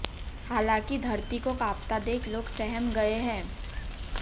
हालांकि धरती को कांपता देख लोग सहम गए हैं